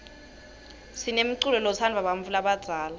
sinemculo lotsndvwa bantfu labadzala